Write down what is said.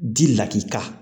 Di lakika